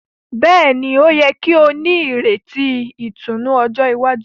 Béèni, o yẹ kí o n'ireti ìtùnú ọjọ iwájú